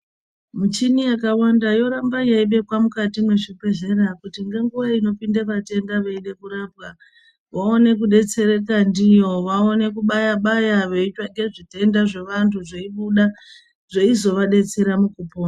Muchini yakawanda yoramba yeibekwa mukati mwezvibhehleya kuti ngenguwa inopinda vatenda veida kurapwa vaone kudetsereka ndiyo, vaone kubaya baya veitsvake zvitenda zvevantu zveibuda zveizovadetsera mukupona.